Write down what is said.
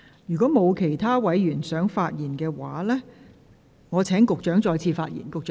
如果沒有其他委員想發言，我現在請局長再次發言。